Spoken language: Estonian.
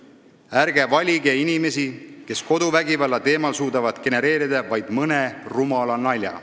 Ärge valige inimesi, kes koduvägivalla teemal suudavad genereerida vaid mõne rumala nalja.